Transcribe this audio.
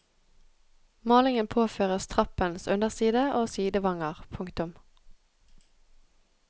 Malingen påføres trappens underside og sidevanger. punktum